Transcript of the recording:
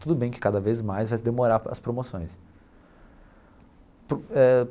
Tudo bem que cada vez mais vai demorar as promoções eh.